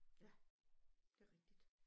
Ja det rigtigt